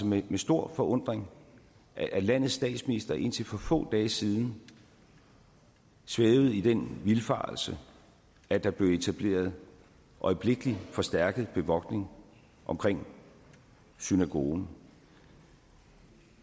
med stor forundring at landets statsminister indtil for få dage siden svævede i den vildfarelse at der blev etableret øjeblikkeligt forstærket bevogtning omkring synagogen